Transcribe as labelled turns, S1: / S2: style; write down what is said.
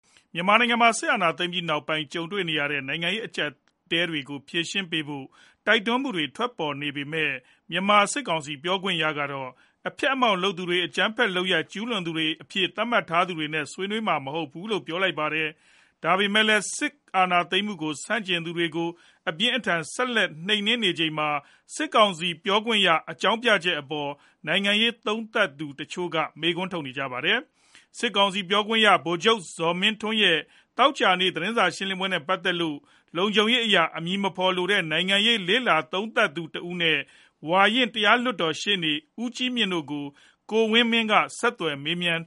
S1: မြန်မာနိုင်ငံမှာ စစ်အာဏာသိမ်းပြီးနောက်ပိုင်း ကြုံနေရတဲ့ နိုင်ငံရေး အကျပ်အတည်းတွေကို ဆွေးနွေးဖြေရှင်းဖို့ တိုက်တွန်းမှုတွေ ထွက်ပေါ် နေပေမဲ့ မြန်မာစစ်ကောင်စီ ပြောခွင့်ရကတော့ အဖျက်အမှောင့် လုပ်တဲ့သူတွေ၊ အကြမ်းဖက်လုပ်ရပ် ကျုးလွန်သူတွေအဖြစ် သတ်မှတ်ထားသူတွေနဲ့ ဆွေးနွေးမှာ မဟုတ်ဘူးလို့ ပြောလိုက်ပါတယ်။ ဒါပေမဲ့လည်း စစ်အာဏာသိမ်းမှုကို ဆန့်ကျင်သူတွေကို အပြင်းအထန် ဆက်လက် နှိမ်နင်းနေချိန်မှာ စစ်ကောင်စီပြောခွင့်ရရဲ့ အကြောင်းပြချက်အပေါ် နိုင်ငံရေး သုံးသပ်သူ တချို့က မေးခွန်းထုတ်နေကြတာပါ။ စစ်ကောင်စီ ပြောခွင့်ရ ဗိုလ်ချုပ်ဇော်မင်းထွန်းရဲ့ သောကြာနေ့ သတင်းစာ ရှင်းလင်းပွဲနဲ့ ပတ်သက်လို့ လုံခြုံရေးအရ အမည်မဖော်လိုတဲ့ နိုင်ငံရေးလေ့လာ သုံးသပ်သူ တဦးနဲ့ ဝါရင့်တရားလွှတ်တော်ရှေ့နေ ဦးကြီးမြင့်တို့ကို ကိုဝင်းမင်းက ဆက်သွယ်မေးမြန်း